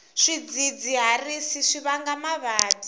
swidzidziharisi swi vanga mavabyi